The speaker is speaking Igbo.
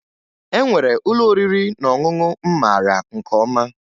E nwere ụlọ oriri na ọṅụṅụ m mara nke ọma